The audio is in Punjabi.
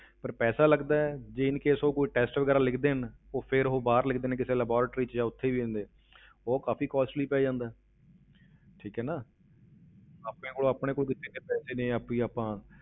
ਪਰ ਪੈਸਾ ਲੱਗਦਾ ਹੈ, ਜੇ in case ਉਹ test ਵਗ਼ੈਰਾ ਲਿਖ ਦੇਣ, ਉਹ ਫਿਰ ਉਹ ਬਾਹਰ ਲਿਖਦੇ ਨੇ ਕਿਸੇ laboratory ਵਿੱਚ ਜਾ ਉੱਥੇ ਵੀ ਹੁੰਦੇ ਉਹ ਕਾਫ਼ੀ costly ਪੈ ਜਾਂਦਾ ਹੈ ਠੀਕ ਹੈ ਨਾ ਆਪਣੇ ਕੋਲ ਆਪਣੇ ਕਿਉਂਕਿ ਇੰਨੇ ਪੈਸੇ ਨੀ ਆਪੀ ਆਪਾਂ,